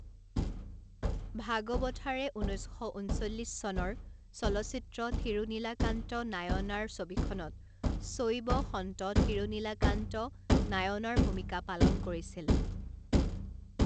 ভাগবথাৰে ঊনৈছ শ ঊনচল্লিছ চনৰ চলচ্চিত্ৰ থিৰূনীলাকান্ত নায়নাৰ ছবিখনত চৈব সন্ত থিৰূনীলাকান্ত নায়নাৰ ৰ ভূমিকা পালন কৰিছিল।